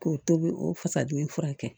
K'o tobi o fasa dimi furakɛ